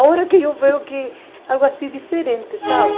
Agora que eu vejo que é algo assim diferente, sabe?